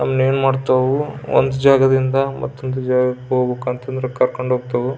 ಅಲ್ ಏನ್ ಮಾಡ್ತಾವ್ ಒಂದ್ ಜಾಗದಿಂದ ಮತ್ತ್ತೊಂದು ಜಾಗಕ್ಕೆ ಹೋಗ್ಬೇಕು ಅಂತ ಅಂದ್ರೆ ಕರ್ಕಂಡ್ ಹೋಗ್ತವು.